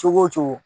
Cogo o cogo